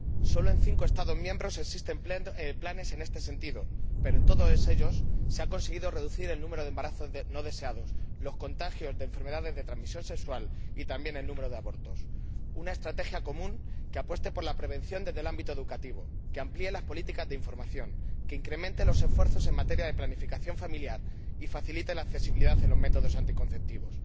Sólo en cinco Estados miembros existen planes en este sentido, pero en todos ellos se ha conseguido reducir el número de embarazos no deseados, los contagios de enfermedades de transmisión sexual y también el número de abortos. Es necesaria una estrategia común que apueste por la prevención desde el ámbito educativo, que amplíe las políticas de información, que incremente los esfuerzos en materia de planificación familiar y facilite la accesibilidad a los métodos anticonceptivos.